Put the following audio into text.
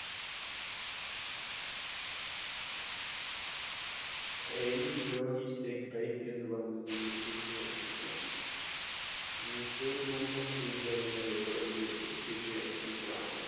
Aiming low is a crime എന്ന് പറഞ്ഞത് എപിജെഅബ്ദുൽ കലാമാണ് missile man of india എന്ന് അറിയപ്പെടുന്നത് എപിജെ അബ്ദുൽ കലാമാണ്